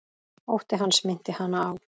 Ótti hans minnti hana á